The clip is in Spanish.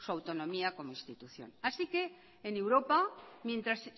como institución así que en europa mientras